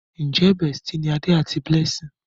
Njé bestie ní Ade àti Blessing?